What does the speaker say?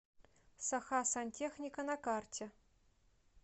сахасантехника на карте